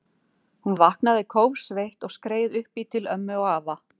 Hún vaknaði kófsveitt og skreið upp í til ömmu og afa.